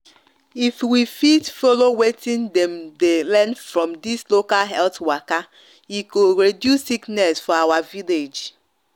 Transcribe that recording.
if we fit follow watin dem the learn from dis local health waka e go reduce sickness for our village